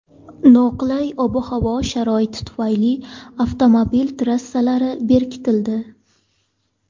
Noqulay ob-havo sharoiti tufayli avtomobil trassalari berkitildi.